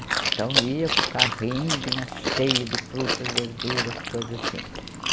Então ia com o carrinho, vinha cheio de frutas, verduras, coisas assim.